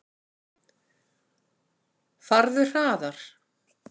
Farðu hraðar.